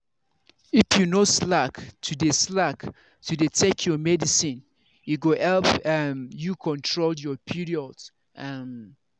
if you no slack to dey slack to dey take your medicine e go help um you control your period. um